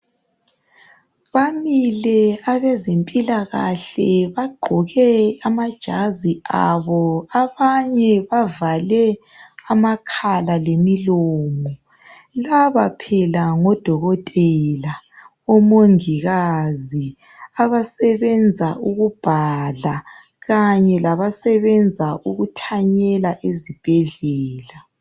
Bamile abazemphilakahle bagqoke amajazi abo . Abanye bavale amakhala lemilomo. Laba phela ngodokotela, omungikazi , abasebenza ukubhala kanye labasebenza ukuthanyela ezibhedlela.